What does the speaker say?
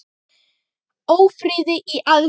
Ófriði í aðsigi.